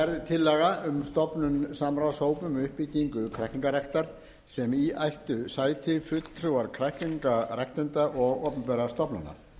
tillaga um stofnun samráðshóps um uppbyggingu kræklingaræktar sem í ættu sæti fulltrúar kræklingaræktenda og opinberra stofnana